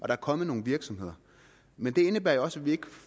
er kommet nogle virksomheder men det indebærer jo også at vi ikke